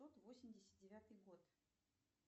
восемьдесят девятый год